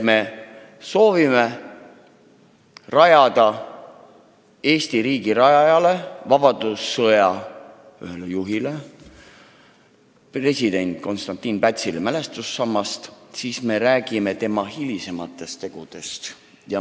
Me soovime püsti panna ausamba Eesti riigi rajajale, vabadussõja ühele juhile president Konstantin Pätsile ja räägime tema hilisematest tegudest.